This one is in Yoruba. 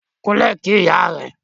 Kúnlẹ̀ kí ìyá rẹ.